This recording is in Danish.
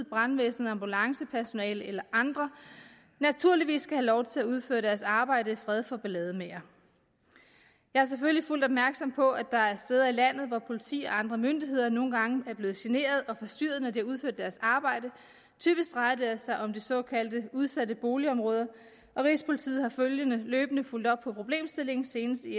brandvæsen ambulancepersonale eller andre naturligvis skal have lov til at udføre deres arbejde i fred for ballademagere jeg er selvfølgelig fuldt opmærksom på at der er steder i landet hvor politi og andre myndigheder nogle gange er blevet generet og forstyrret når de har udført deres arbejde typisk drejer det sig om de såkaldte udsatte boligområder rigspolitiet har løbende fulgt op på problemstillingen senest i